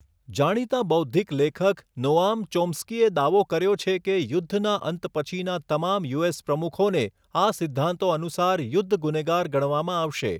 જાણીતા બૌદ્ધિક લેખક, નોઆમ ચોમ્સ્કીએ દાવો કર્યો છે કે યુદ્ધના અંત પછીના તમામ યુએસ પ્રમુખોને આ સિદ્ધાંતો અનુસાર યુદ્ધ ગુનેગાર ગણવામાં આવશે.